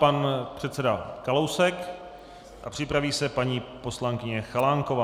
Pan předseda Kalousek a připraví se paní poslankyně Chalánková.